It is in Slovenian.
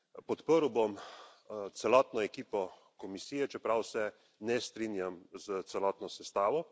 Podprl bom celotno ekipo Komisije, čeprav se ne strinjam s celotno sestavo.